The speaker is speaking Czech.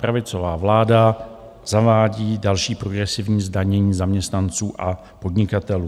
Pravicová vláda zavádí další progresivní zdanění zaměstnanců a podnikatelů.